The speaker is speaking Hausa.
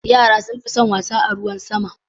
Yara sun fi son wasa a ruwan sama.